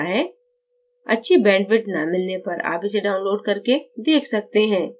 अच्छी bandwidth न मिलने पर आप इसे download करके देख सकते हैं